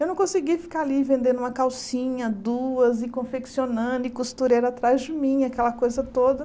Eu não conseguia ficar ali vendendo uma calcinha, duas, e confeccionando, e costureira atrás de mim, aquela coisa toda.